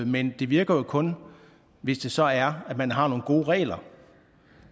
men det virker jo kun hvis det så er at man har nogle gode regler